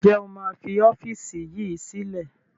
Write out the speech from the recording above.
Ǹjẹ́ o máa fi ọ́fíìsì yìí sílẹ̀?